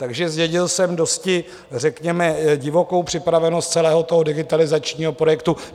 Takže zdědil jsem dosti řekněme divokou připravenost celého toho digitalizačního projektu.